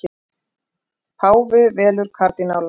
Páfi velur kardínála